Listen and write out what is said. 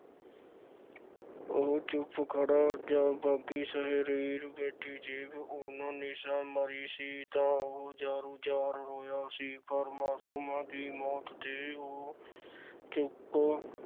ਉਹ ਚੁੱਪ ਖੜ੍ਹਾ ਜਾਂ ਬਾਗ਼ੀ ਸ਼ਾਇਰ ਬੇਟੀ ਜੇਬ–ਉਨ–ਨਿਸਾ ਮਰੀ ਸੀ, ਉਹ ਜ਼ਾਰੋਂ ਜ਼ਾਰ ਰੋਇਆ ਸੀ ਪਰ ਮਾਸੂਮਾਂ ਦੀ ਮੌਤ ਤੇ ਉਹ ਚੁੱਪ